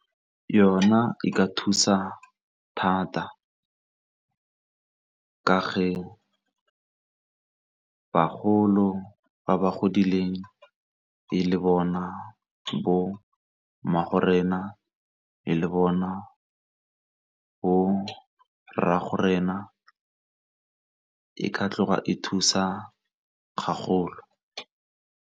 Yona e ka thusa thata ka bagolo ba ba godileng e le bona bo wena le le bona go rraago rena e ka tloga e thusa gagolo.